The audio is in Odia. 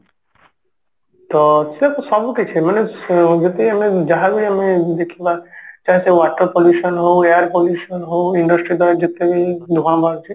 ତ ସିଏ ତ ସବୁକିଛି ମାନେ ଅ ଯଦି ଆମେ ଯାହାବି ଆମେ ଦେଖିବା ସିଏ water pollution ହଉ air pollution ହଉ industry ରୁ ଯେତେ ବି ଧୂଆଁ ବାହାରୁଛି